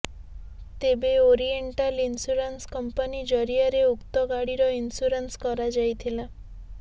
ତେବେ oriental insurance company ଜରିଆରେ ରେ ଉକ୍ତ ଗାଡିର ଇନ୍ସୁରାନ୍ସ କରାଯାଇଥିଲା